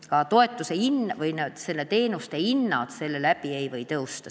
kas ka teenuste hind seetõttu ei või tõusta.